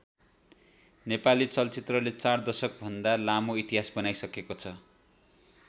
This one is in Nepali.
नेपाली चलचित्रले चार दशक भन्दा लामो इतिहास बनाईसकेको छ।